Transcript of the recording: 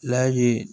La ye